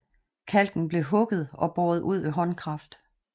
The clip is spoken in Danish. Kalken blev hugget og båret ud ved håndkraft